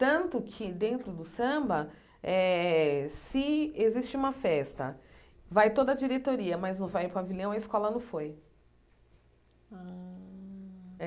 Tanto que, dentro do samba, eh se existe uma festa, vai toda a diretoria, mas não vai o pavilhão, a escola não foi. Ah